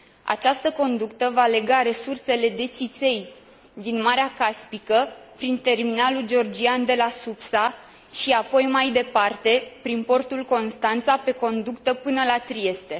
Această conductă va lega resursele de țiței din Marea Caspică, prin terminalul georgian de la Supsa și apoi mai departe, prin portul Constanța, pe conductă, până la Trieste.